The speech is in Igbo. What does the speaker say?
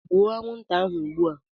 Gbuo anwụnta ahụ ugbu a!